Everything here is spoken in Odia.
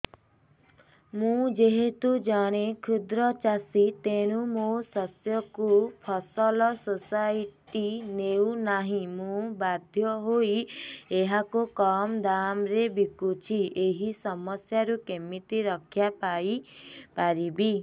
ମୁଁ ଯେହେତୁ ଜଣେ କ୍ଷୁଦ୍ର ଚାଷୀ ତେଣୁ ମୋ ଶସ୍ୟକୁ ଫସଲ ସୋସାଇଟି ନେଉ ନାହିଁ ମୁ ବାଧ୍ୟ ହୋଇ ଏହାକୁ କମ୍ ଦାମ୍ ରେ ବିକୁଛି ଏହି ସମସ୍ୟାରୁ କେମିତି ରକ୍ଷାପାଇ ପାରିବି